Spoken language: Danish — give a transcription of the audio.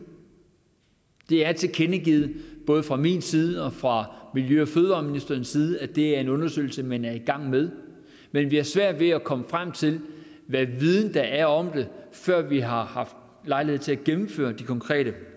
det er tilkendegivet både fra min side og fra miljø og fødevareministerens side at det er en undersøgelse man er i gang med men vi har svært ved at komme frem til hvilken viden der er om det før vi har haft lejlighed til at gennemføre de konkrete